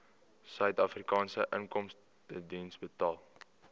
suidafrikaanse inkomstediens betaal